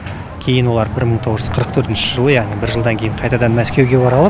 кейін олар бір мың тоғыз жүз қырық төртінші жылы яғни бір жылдан кейін қайтадан мәскеуге оралып